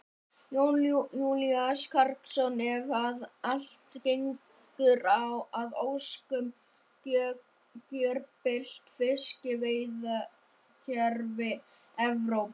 Jón Júlíus Karlsson: Ef að allt gengur að óskum, gjörbylt fiskveiðikerfi Evrópu?